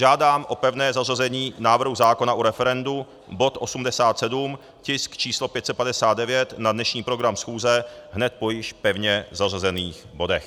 Žádám o pevné zařazení návrhu zákona o referendu, bod 87, tisk číslo 559, na dnešní program schůze hned po již pevně zařazených bodech.